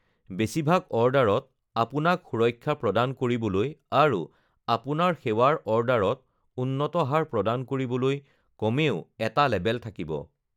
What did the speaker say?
বেছিভাগ অৰ্ডাৰত আপোনাক সুৰক্ষা প্ৰদান কৰিবলৈ আৰু আপোনাৰ সেৱাৰ অৰ্ডাৰত উন্নত হাৰ প্ৰদান কৰিবলৈ কমেও এটা লেবেল থাকিব!